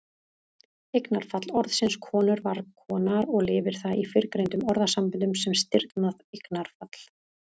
Eignarfall orðsins konur var konar og lifir það í fyrrgreindum orðasamböndum sem stirðnað eignarfall.